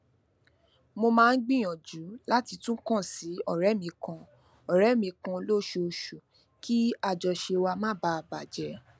mo máa ń gbìyànjú láti tun kan si òré mi kan òré mi kan lóṣooṣù kí àjọṣe wa má baa bà jé